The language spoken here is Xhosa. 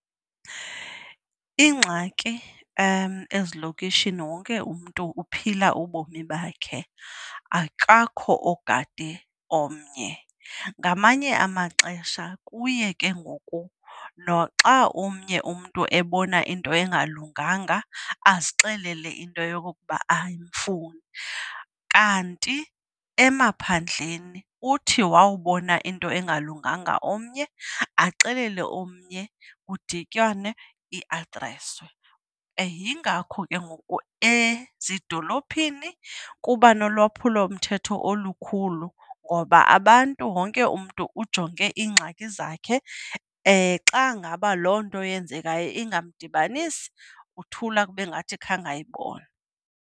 Ingxaki ezilokishini, wonke umntu uphila ubomi bakhe akakho ogade omnye. Ngamanye amaxesha kuye ke ngoku noxa omnye umntu ebona into engalunganga azixele into yokokuba ayimfuni. Kanti emaphandleni uthi wawubona into engalunganga omnye axelele omnye kudityanwe iadreswe. Yingakho ke ngoku ezidolophini kuba nolwaphulomthetho olukhulu ngoba abantu, wonke umntu ujonge iingxaki zakhe. Xa ngaba loo nto yenzekayo ingamdibanisi, uthula kube ngathi khange ayibone.